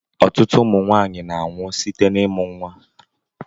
Ụtụtụ ụmụ nwaanyị na-anwụ site n'imụ nwa.